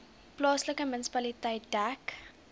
plaaslike munisipaliteit dek